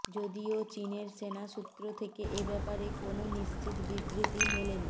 যদিও চিনের সেনা সূত্র থেকে এব্যাপারে কোনও নিশ্চিত বিবৃতি মেলেনি